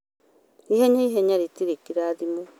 ihenya ihenya rĩtirĩ kĩrathimo